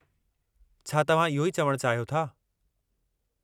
छा तव्हां इहो ई चवणु चाहियो था?